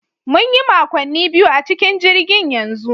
Mun yi makonni biyu a cikin jirgin yanzu